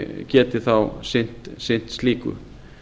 geti þá sinnt slíku